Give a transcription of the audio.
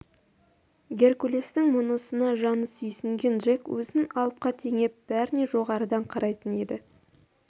геркулестің мұнысына жаны сүйсінген джек өзін алыпқа теңеп бәріне жоғарыдан қарайтын еді